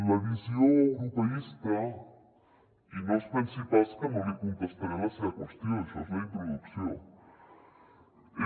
la visió europeista i no es pensi pas que no li contestaré la seva qüestió això és la introducció